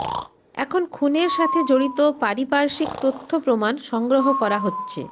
এখন খুনের সাথে জড়িত পারিপার্শ্বিক তথ্য প্রমাণ সংগ্রহ করা হচ্ছে